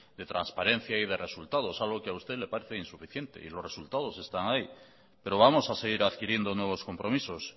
de transparencia y de resultados algo que a usted le parece insuficiente y los resultados están ahí pero vamos a seguir adquiriendo nuevos compromisos